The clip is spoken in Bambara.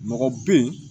Mɔgɔ bɛ yen